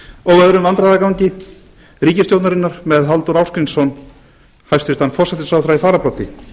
og öðrum vandræðagangi ríkisstjórnarinnar með hæstvirtum forsætisráðherra halldór ásgrímsson í fararbroddi